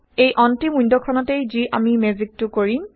এই অন্তিম ৱিণ্ডখনতেই যি আমি মেজিকটো কৰিম